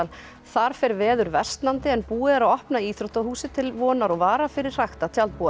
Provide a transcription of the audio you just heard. þar fer veður versnandi en búið er að opna íþróttahúsið til vonar og vara fyrir hrakta